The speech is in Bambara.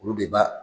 Olu de b'a